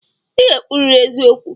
I ga-ekwuriri eziokwu!